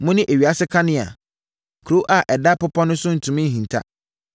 “Mone ewiase kanea. Kuro a ɛda bepɔ so no ntumi nhinta.